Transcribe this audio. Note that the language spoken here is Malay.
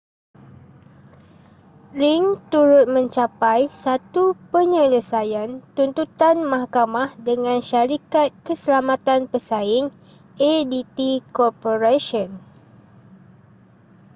ring turut mencapai satu penyelesaian tuntutan mahkamah dengan syarikat keselamatan pesaing adt corporation